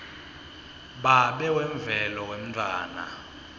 babe wemvelo wemntfwana